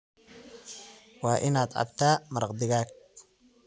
Waa inaad cabtaa maraq digaag